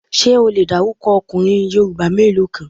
Ṣé o le dárúkọ ọkùnrin Yorùbá mélòó kan?